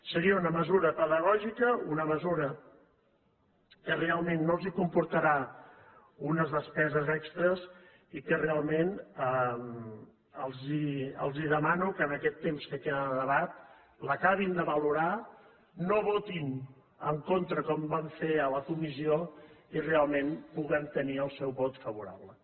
seria una mesura pedagògica una mesura que realment no els comportarà unes despeses extres i que realment els demano que en aquest temps que queda de debat l’acabin de valorar no hi votin en contra com van fer a la comissió i realment puguem tenir el seu vot favorable